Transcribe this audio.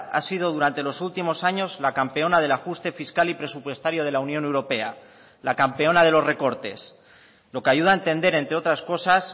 ha sido durante los últimos años la campeona del ajuste fiscal y presupuestario de la unión europea la campeona de los recortes lo que ayuda a entender entre otras cosas